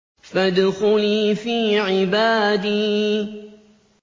فَادْخُلِي فِي عِبَادِي